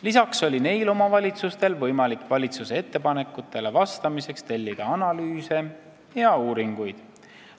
Lisaks oli neil omavalitsustel võimalik valitsuse ettepanekutele vastamiseks tellida analüüse ja uuringuid.